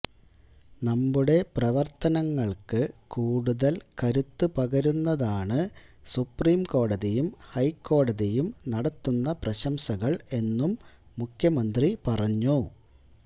നമ്മുടെ പ്രവർത്തനങ്ങൾക്ക് കൂടുതൽ കരുത്ത് പകരുന്നതാണ് സുപ്രീംകോടതിയും ഹൈക്കോടതിയും നടത്തുന്ന പ്രശംസകൾ എന്നും മുഖ്യമന്ത്രി പറഞ്ഞു